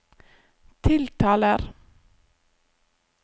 tiltaler